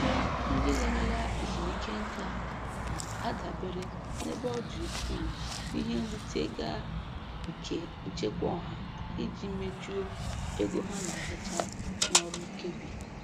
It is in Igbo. Ọtụtụ ndị larala ezumike nka na-adabere nebe ọdị ukwuu n'ihe nrite ga nke Nchekwa Ọha iji mejuo ego ha na-arụta n'ọrụ nkebi.